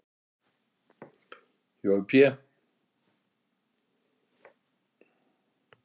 Jói Pé